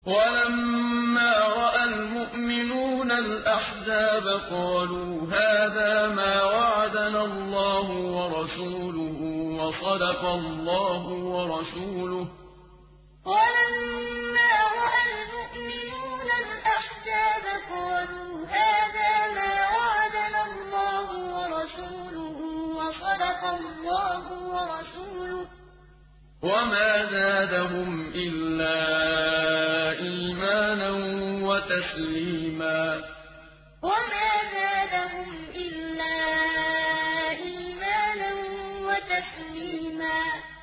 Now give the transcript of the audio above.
وَلَمَّا رَأَى الْمُؤْمِنُونَ الْأَحْزَابَ قَالُوا هَٰذَا مَا وَعَدَنَا اللَّهُ وَرَسُولُهُ وَصَدَقَ اللَّهُ وَرَسُولُهُ ۚ وَمَا زَادَهُمْ إِلَّا إِيمَانًا وَتَسْلِيمًا وَلَمَّا رَأَى الْمُؤْمِنُونَ الْأَحْزَابَ قَالُوا هَٰذَا مَا وَعَدَنَا اللَّهُ وَرَسُولُهُ وَصَدَقَ اللَّهُ وَرَسُولُهُ ۚ وَمَا زَادَهُمْ إِلَّا إِيمَانًا وَتَسْلِيمًا